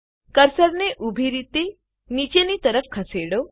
કર્સરને ઉભી રીતે નીચેની તરફ ખસેડો